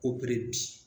bi